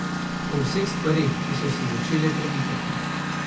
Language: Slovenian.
O vseh stvareh, ki so se začele premikati.